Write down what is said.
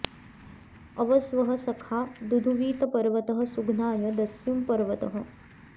अव॒ स्वः सखा॑ दुधुवीत॒ पर्व॑तः सु॒घ्नाय॒ दस्युं॒ पर्व॑तः